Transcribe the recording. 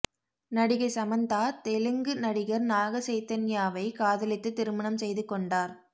நடிகை சமந்தா தெலுங்கு நடிகர் நாக சைதன்யாவை காதலித்து திருமணம் செய்து கொண்டார்